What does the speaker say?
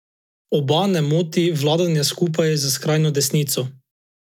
Oba ne moti vladanje skupaj s skrajno desnico.